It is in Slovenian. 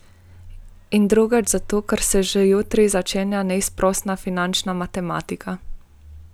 In drugič zato, ker se že jutri začenja neizprosna finančna matematika.